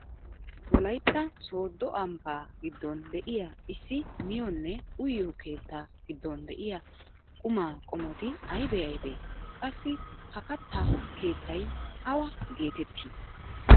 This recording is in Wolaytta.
Wolaytta sooddo ambbaa giddon de'iyaa issi miyoonne uyiyoo keettaa giddon de'iyaa qumaa qommoti aybee aybee? qassi ha katta keettay awaa getettii?